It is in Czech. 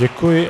Děkuji.